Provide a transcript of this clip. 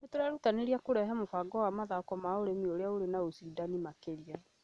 Nĩ tũrerutanĩria kũrehe mũbango wa mathoko ma ũrĩmi ũrĩ na ũcindani makĩria